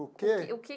O que? O que.